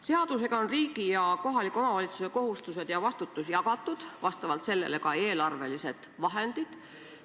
Seadusega on riigi ja kohaliku omavalitsuse kohustused ja vastutus jagatud, vastavalt sellele ka eelarvelised vahendid.